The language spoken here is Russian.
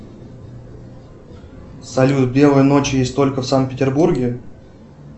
салют белые ночи есть только в санкт петербурге